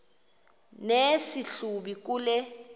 nesi hlubi kule